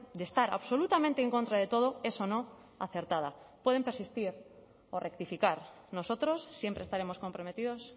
de estar absolutamente en contra de todo es o no acertada pueden persistir o rectificar nosotros siempre estaremos comprometidos